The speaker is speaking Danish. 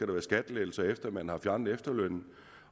være skattelettelser efter at man har fjernet efterlønnen